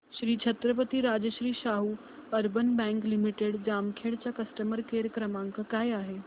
Shri Chhatrapati Rajshri Shahu urban bank limited Jamkhed चा customer care क्रमांक काय आहे